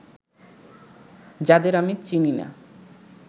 যাদের আমি চিনি না